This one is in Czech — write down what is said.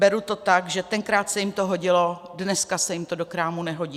Beru to tak, že tenkrát se jim to hodilo, dneska se jim to do krámu nehodí.